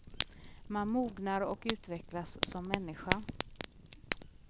Man mognar och utvecklas som människa.